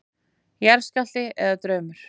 Jarðskjálfti eða draumur?